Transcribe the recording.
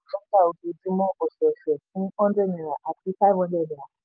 dátà ojoojúmọ́/ọ̀sẹ̀ọ̀sẹ̀ fún hundred naira àti five hundred naira